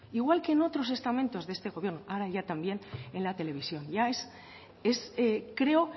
igual que en otro estamentos de este gobierno ahora ya también en la televisión ya es creo